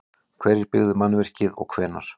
Hverjir byggðu mannvirkið og hvenær?